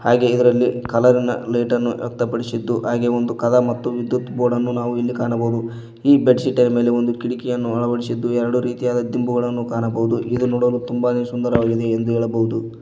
ಹಾಗೆ ಇದರಲ್ಲಿ ಕಲರಿ ನ ಲೈಟ್ ಅನ್ನು ವ್ಯಕ್ತಪಡಿಸಿದ್ದು ಹಾಗೆ ಒಂದು ಕದ ಮತ್ತು ವಿದ್ಯುತ್ ಬೋರ್ಡ್ ಅನ್ನು ಇಲ್ಲಿ ಕಾಣಬಹುದು ಈ ಬೆಡ್ ಶೀಟ್ ನ ಮೇಲೆ ಒಂದು ಕಿಡಿಕಿಯನ್ನು ಅಳವಡಿಸಿದ್ದು ಎರಡು ರೀತಿಯಾದ ದಿಂಬುಗಳನ್ನು ಕಾಣಬಹುದು ಇದು ನೋಡಲು ತುಂಬಾನೇ ಸುಂದರವಾಗಿದೆ ಎಂದು ಹೇಳಬಹುದು.